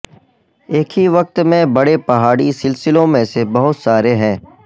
ایک ہی وقت میں بڑے پہاڑی سلسلوں میں سے بہت سارے ہیں